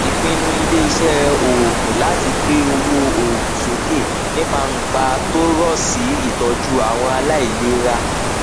ìpinnu iléiṣẹ oogun láti gbé owó òògùn sókè nípa ńpa tó rọ sí ìtọju àwọn aláìlera